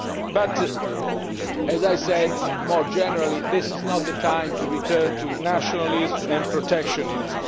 But as I said more generally, this is not the time to return to nationalism and protectionism.